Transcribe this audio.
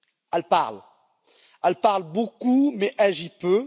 Elle parle, elle parle beaucoup mais agit peu.